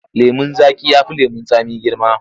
Lemon zaƙi ya fi lemon tsami girma.